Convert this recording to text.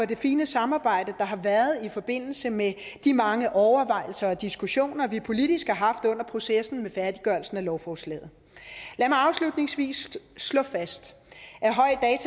det fine samarbejde der har været i forbindelse med de mange overvejelser og diskussioner vi politisk har haft under processen med færdiggørelsen af lovforslaget lad mig afslutningsvis slå fast